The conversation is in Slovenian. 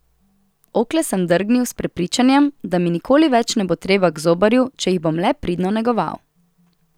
Okle sem drgnil s prepričanjem, da mi nikoli več ne bo treba k zobarju, če jih bom le pridno negoval.